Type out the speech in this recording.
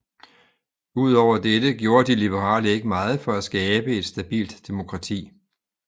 Ud over dette gjorde de liberale ikke meget for at skabe et stabilt demokrati